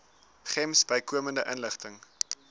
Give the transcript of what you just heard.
gems bykomende inligting